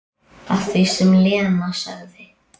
Að því sem Lena sagði.